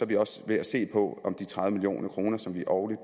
vi også ved at se på om de tredive million kr som vi årligt